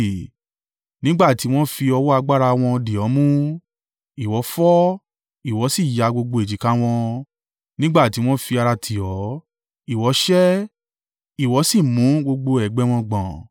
Nígbà tí wọn fi ọwọ́ agbára wọn dì ọ́ mú. Ìwọ fọ́, ìwọ sì ya gbogbo èjìká wọn; nígbà tí wọn fi ara tì ọ́, ìwọ sẹ́, ìwọ sì mú gbogbo ẹ̀gbẹ́ wọn gbọ̀n.